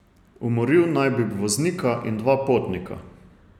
Umoril naj bi voznika in dva potnika.